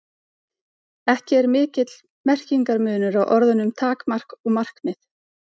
Ekki er mikill merkingarmunur á orðunum takmark og markmið.